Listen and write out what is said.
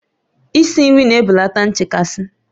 Isi nri na-ebelata nchekasị